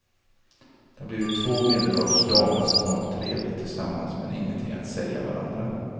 De har blivit två medelålders damer som har trevligt tillsammans men ingenting att säga varandra.